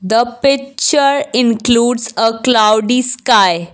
the picture includes a cloudy sky.